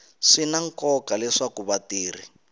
swi na nkoka leswaku vatirhi